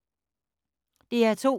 DR2